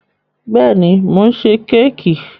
Bẹ́ẹ̀ ni, mò ń ṣe kẹ́kì.